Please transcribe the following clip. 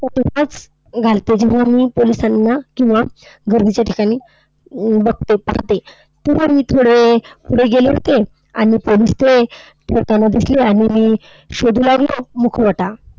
घालते, जेव्हा मी पोलिसांना किंवा गर्दीच्या ठिकाणी बघते पाहते. तेव्हा मी थोडे पुढे गेले होते आणि पोलीस ते येताना दिसले आणि मी शोधू लागलो मुखवटा.